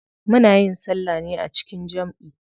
Muna yin salla ne a jikin jamʼi.